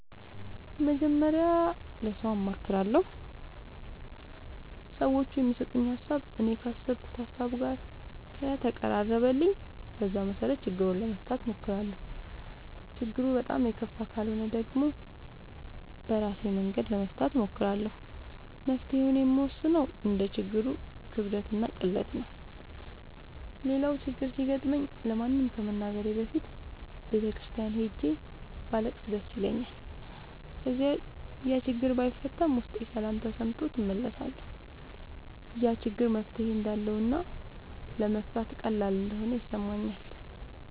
መጀመሪያ ለሠው አማክራለሁ። ሠዎቹ የሚሠጡኝ ሀሣብ እኔ ካሠብኩት ሀሳብ ጋር ከተቀራረበልኝ በዛ መሠረት ችግሩን ለመፍታት እሞክራለሁ። ችግሩ በጣም የከፋ ካልሆነ ደግሞ በራሴ መንገድ ለመፍታት እሞክራለሁ። መፍትሔውን የምወስነው እንደ ችግሩ ክብደትና ቅለት ነው። ሌላው ችግር ሲገጥመኝ ለማንም ከመናገሬ በፊት ቤተ ክርስቲያን ሄጄ ባለቅስ ደስ ይለኛል። ከዚያ ያችግር ባይፈታም ውስጤ ሠላም ተሠምቶት እመለሳለሁ። ያ ችግር መፍትሔ እንዳለውና ለመፍታት ቀላል እንደሆነ ይሠማኛል።